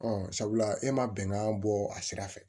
Ɔ sabula e ma bɛnkan bɔ a sira fɛ